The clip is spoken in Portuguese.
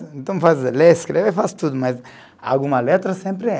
Então, vai ler e escrever faço tudo, mas alguma letra sempre erra.